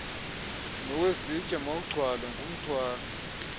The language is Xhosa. nowezitya mawugcwale ngumthwalo